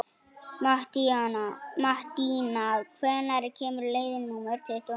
Mattína, hvenær kemur leið númer tuttugu og níu?